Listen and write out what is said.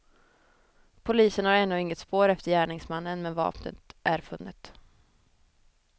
Polisen har ännu inget spår efter gärningsmannen, men vapnet är funnet.